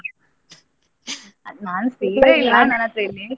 ಅದು ನಾನು ಸೀರೆ ಇಲ್ಲಿ.